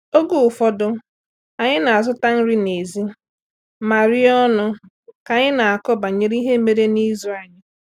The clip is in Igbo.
Oge ụfọdụ, anyị na-azụta nri n'èzí ma rie ọnụ ka anyị na-akọ banyere ihe mere n'izu anyị.